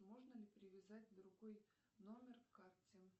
можно ли привязать другой номер к карте